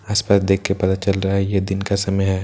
आस पास देख के पता चल रहा है यह दिन का समय है।